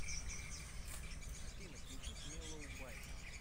афина включить меллоубайт